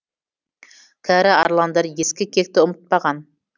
кәрі арландар ескі кекті ұмытпаған